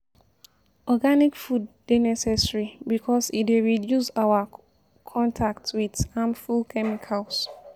organic food dey necessary because e dey reduce our contact with harmful chemicals